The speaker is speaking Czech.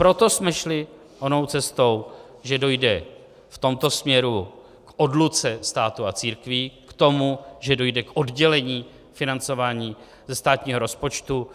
Proto jsme šli onou cestou, že dojde v tomto směru k odluce státu a církví, k tomu, že dojde k oddělení financování ze státního rozpočtu,